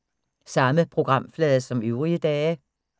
Samme programflade som øvrige dage